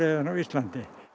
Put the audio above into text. á Íslandi